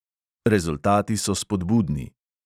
Rezultati so spodbudni.